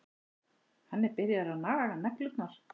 Hann er byrjaður að naga neglurnar.